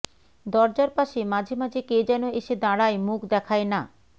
দরজার পাশে মাঝে মাঝে কে যেন এসে দাঁড়ায় মুখ দেখায় না